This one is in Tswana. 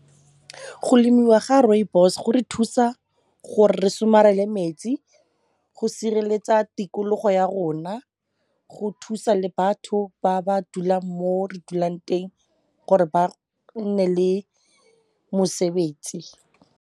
Go lemiwa ga rooibos go re thusa gore re somarele metsi, go sireletsa tikologo ya rona, go thusa le batho ba ba dulang mo re dulang teng gore ba nne le mosebetsi.